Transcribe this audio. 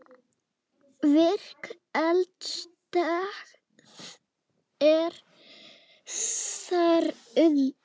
Virk eldstöð er þar undir.